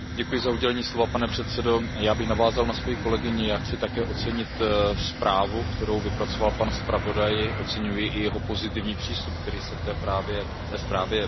Pane předsedající, já bych navázal na svou kolegyni a chci také ocenit zprávu, kterou vypracoval pan zpravodaj, oceňuji i jeho pozitivní přístup, který se v té zprávě projevuje.